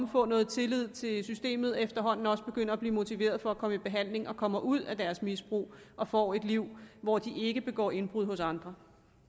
få noget tillid til systemet og efterhånden også begynde at blive motiveret for at komme i behandling og komme ud af deres misbrug og få et liv hvor de ikke begår indbrud hos andre